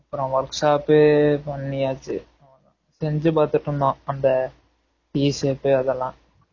அப்பறம் workshop பண்ணியாச்சு செஞ்சு பாத்துட்டு இருந்தோம் அந்த D shape அதெல்லாம்